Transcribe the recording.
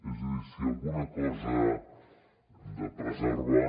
és a dir si alguna cosa hem de preservar